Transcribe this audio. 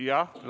Aitäh teile!